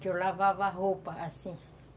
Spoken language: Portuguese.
que eu lavava roupa, assim.